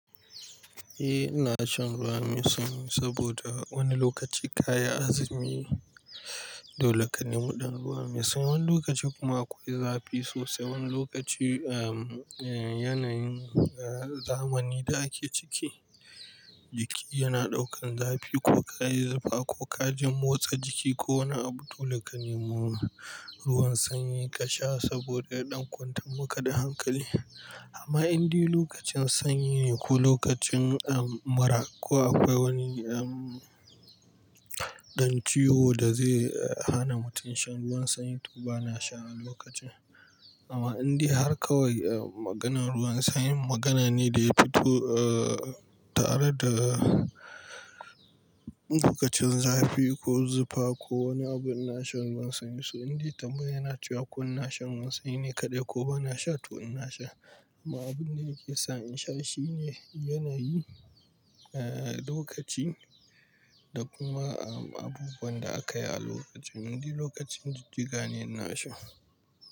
Eh ina shan ruwa mai sanyi saboda wani lokaci kayi azumi dole ka nemi ɗan ruwan mai sanyi. Wani lokaci kuma akwai zafi sosai. Wani lokaci, ah, yanayin, ah, zamani da ake ciki jiki yana ɗaukan zafi ko ka yi zufa ko ka jin motsa jiki ko wani abu dole ka nemo ruwan sanyi ka sha saboda ya ɗan kwantar muka da hankali. Amma in dai lokacin sanyi ne ko lokacin, ah, mura ko akwai wani, ah, ɗan ciwo da zai, eh, hana mutum shan ruwan sanyi to ba na sha a lokacin. Amma in dai har kawai, ah, maganan ruwan sanyi magana ne da ya fito, ah, tare da lokacin zafi ko zufa ko wani abu ina shan ruwan sanyi. So in dai tambaya yana ciwo ina shan ruwan sanyi ne kaɗai ko ba na sha to ina sha. Amma abin da yake sa in sha shine yanayi, ah, lokaci da kuma, ah, abubuwan da aka yi a lokacin. In dai lokacin jijjiga ne ina sha.